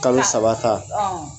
Kalo saba ta